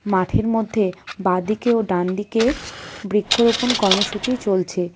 মাঠের মধ্যে বাঁদিকে ও ডান দিকে বৃক্ষরোপণ কর্মসূচি চলছে.